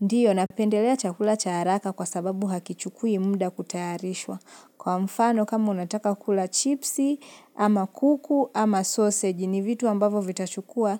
Ndio napendelea chakula cha haraka kwa sababu hakichukui muda kutayarishwa. Kwa mfano, kama unataka kula chipsi, ama kuku, ama sausage, ni vitu ambavo vitachukua